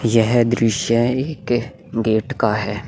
यह दृश्य एक गेट का है।